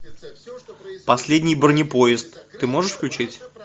последний бронепоезд ты можешь включить